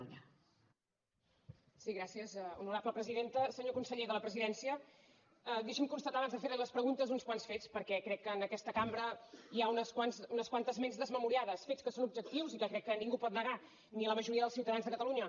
senyor conseller de la presidència deixi’m constatar abans de fer li les preguntes uns quants fets perquè crec que en aquesta cambra hi ha unes quantes ments desmemoriades fets que són objectius i que crec que ningú pot negar ni la majoria dels ciutadans de catalunya